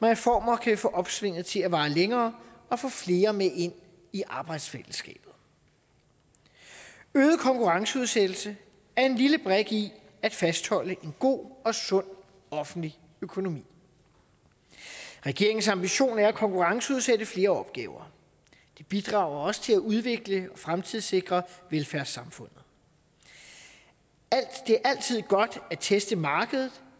reformer kan vi få opsvinget til at vare længere og få flere med ind i arbejdsfællesskabet øget konkurrenceudsættelse er en lille brik i at fastholde en god og sund offentlig økonomi og regeringens ambition er at konkurrenceudsætte flere opgaver det bidrager også til at udvikle og fremtidssikre velfærdssamfundet det er altid godt at teste markedet